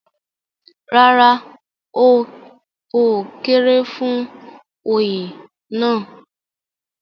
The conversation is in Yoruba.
rárá, ó kéré fún Oyè náà